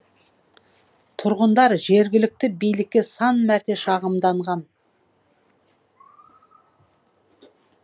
тұрғындар жергілікті билікке сан мәрте шағымданған